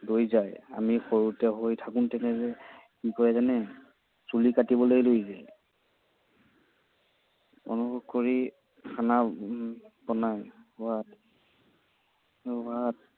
লৈ যায়। আমি সৰুতে হৈ থাকোঁতে কি কৰে জানে? চুলি কাটিবলৈ লৈ যায়। কৰি খানা বনায়। সোৱাদ সোৱাদ